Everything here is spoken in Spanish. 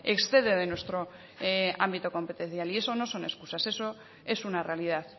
excede de nuestro ámbito competencial y eso no son excusas eso es una realidad